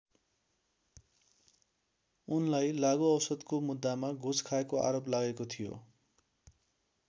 उनलाई लागु औषधको मुद्दामा घुस खाएको आरोप लागेको थियो।